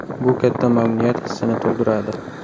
Bu katta mamnuniyat hissini tug‘diradi.